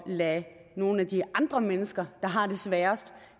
lade nogle af de andre mennesker der har det sværest